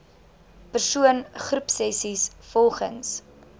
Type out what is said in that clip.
persoon groepsessies volgens